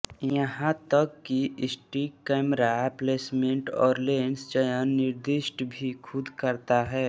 यहाँ तक कि सटीक कैमरा प्लेसमेंट और लेंस चयन निर्दिष्ट भी खुद करता है